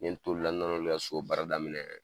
N ye n t'o olu la, n nana k'olu ka so baara daminɛ.